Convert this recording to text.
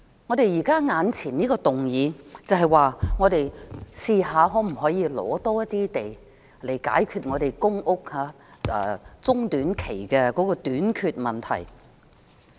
我們當前討論的這項議案，就是嘗試尋覓更多土地來解決中短期的公屋短缺問題。